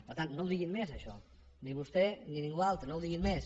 per tant no ho diguin més això ni vostè ni ningú altre no ho diguin més